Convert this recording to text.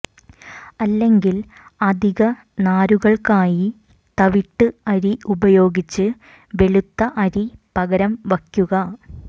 അല്ലെങ്കിൽ അധിക നാരുകൾക്കായി തവിട്ട് അരി ഉപയോഗിച്ച് വെളുത്ത അരി പകരം വയ്ക്കുക